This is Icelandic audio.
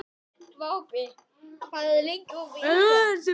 Vápni, hvað er lengi opið í IKEA?